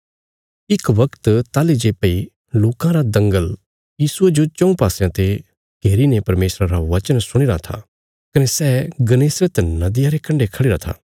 इक बगत ताहली जे भई लोकां रा दंगल यीशुये जो चऊँ पासयां ते घेरी ने परमेशरा रा बचना सुणीराँ था कने सै गन्नेसरत नदिया रे कण्डे खढ़िरा था